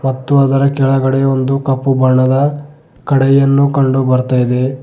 ಅದರ ಕೆಳಗಡೆ ಒಂದು ಕಪ್ಪು ಬಣ್ಣದ ಕಡಾಯಿಯನ್ನು ಕಂಡು ಬರ್ತಾ ಇದೆ.